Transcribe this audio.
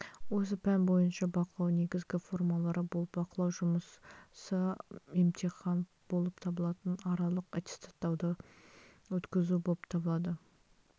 осы пән бойынша бақылау негізгі формалары болып бақылау жұмысы емтихан болып табылатын аралық аттестаттауды өткізу болып табылады